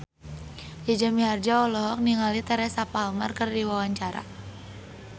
Jaja Mihardja olohok ningali Teresa Palmer keur diwawancara